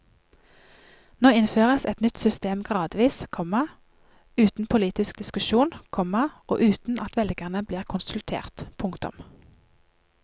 Nå innføres et nytt system gradvis, komma uten politisk diskusjon, komma og uten at velgerne blir konsultert. punktum